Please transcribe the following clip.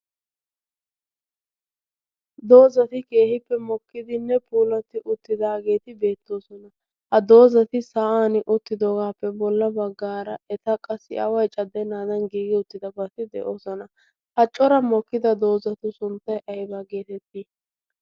doozati keehippe mokkidinne puuloti uttidaageeti beettoosona. ha doozati sa'an uttidoogaappe bolla baggaara eta qassi aawai caddenaadan giigi uttidabaati de'oosona haccora mokkida doozatu sunttay aibaa geetettii?